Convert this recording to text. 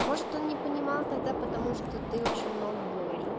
может он не понимал тогда потому что ты очень много говорил